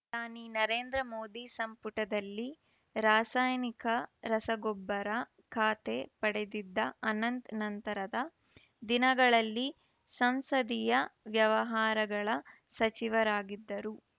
ಪ್ರಧಾನಿ ನರೇಂದ್ರ ಮೋದಿ ಸಂಪುಟದಲ್ಲಿ ರಾಸಾಯನಿಕ ರಸಗೊಬ್ಬರ ಖಾತೆ ಪಡೆದಿದ್ದ ಅನಂತ್‌ ನಂತರದ ದಿನಗಳಲ್ಲಿ ಸಂಸದೀಯ ವ್ಯವಹಾರಗಳ ಸಚಿವರಾಗಿದ್ದರು